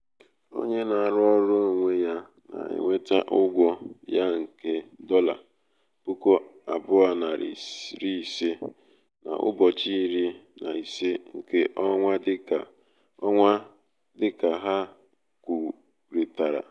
onye na-arụ ọrụ onwe ya na-enweta ụgwọ ya nke nke dolla puku abuo nari iri ise n’ụbọchị iri na ise nke ọnwa dịka ha kwurịtara